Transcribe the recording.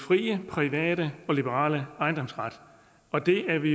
frie private og liberale ejendomsret og det er vi